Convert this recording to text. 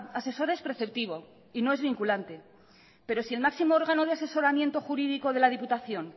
asesora es preceptivo y no es vinculante pero si el máximo órgano de asesoramiento jurídico de la diputación